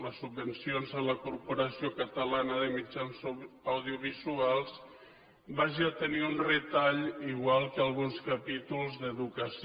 les subvencions a la corporació catalana de mitjans audiovisuals hagi de tenir un retall igual que alguns capítols d’educació